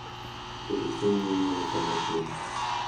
Keto chiemo ma anyuola chamo pile